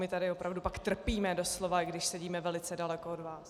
My tady opravdu pak trpíme doslova, i když sedíme velice daleko od vás.